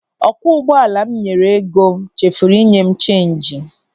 Ọkwọ ụgbọala m nyere ego chefuru inye m cheenji.